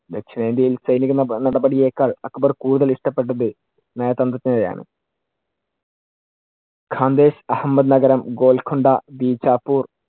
ദക്ഷിണേന്ത്യയിൽ സൈനിക നടപടിയേക്കാള്‍ അക്ബർ കൂടുതൽ ഇഷ്ടപെട്ടത് നയതന്ത്രജ്ഞതയാണ്. അഹമ്മദ് നഗരം, ഗോൽകൊണ്ട, ബീച്ചപുർ